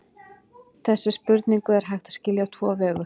Þessa spurningu er hægt að skilja á tvo vegu.